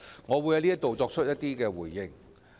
我希望在此作出回應。